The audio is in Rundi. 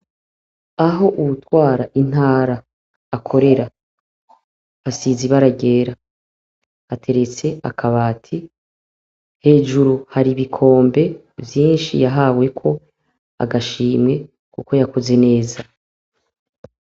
Aho uwutwara intara akorera. Hasize ibara ryera. Hateretse akabati, hejuru hari ibikombe vyinshi yahaweko agashimwe kuko yakoze neza.